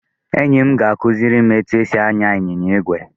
Enyi m kuziri m etu esi anya ịnyịnya igwe.